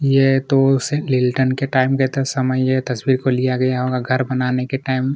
यह उसकी के टाइम का समय है इसको लिया गया है घर बनाने के टाइम --